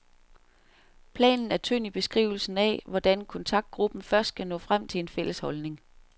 Planen er tynd i beskrivelsen af, hvordan kontraktgruppen først skal nå frem til en fælles holdning.